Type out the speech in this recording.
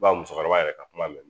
Ba musokɔrɔba yɛrɛ ka kuma mɛn